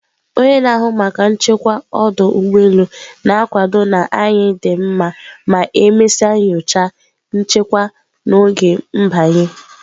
onye na-ahụ maka nchekwa ọdụ ụgbọ elu na-akwado na anyị dị mma ma e mesịa nyocha, nchekwa n'oge m/banye.